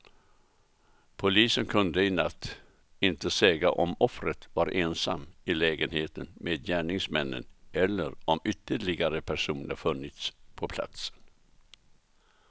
Polisen kunde i natt inte säga om offret varit ensam i lägenheten med gärningsmännen eller om ytterligare personer funnits på platsen.